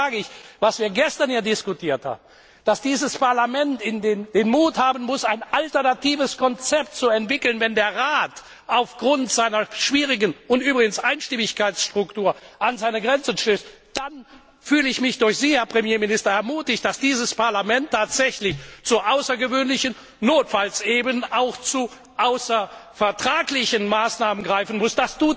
Deshalb sage ich Was wir gestern hier diskutiert haben, dass dieses Parlament den Mut haben muss, ein alternatives Konzept zu entwickeln, wenn der Rat aufgrund seiner schwierigen Einstimmigkeitsstruktur an seine Grenzen stößt, dann fühle ich mich durch Sie, Herr Premierminister, ermutigt, dass dieses Parlament tatsächlich zu außergewöhnlichen, notfalls eben auch zu außervertraglichen Maßnahmen greifen muss.